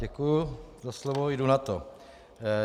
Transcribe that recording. Děkuji za slovo, jdu na to.